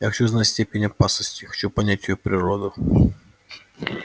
я хочу знать степень опасности хочу понять её природу